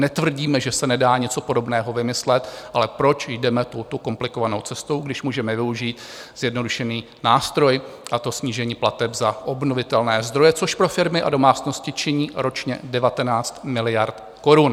Netvrdíme, že se nedá něco podobného vymyslet, ale proč jdeme touto komplikovanou cestou, když můžeme využít zjednodušený nástroj, a to snížení plateb za obnovitelné zdroje, což pro firmy a domácnosti činí ročně 19 miliard korun.